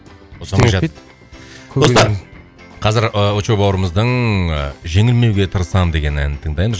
достар қазір ы очоу бауырымыздың ы жеңілмеуге тырысамын деген әнін тыңдаймыз